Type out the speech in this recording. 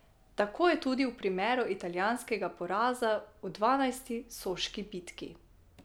Tako je tudi v primeru italijanskega poraza v dvanajsti soški bitki.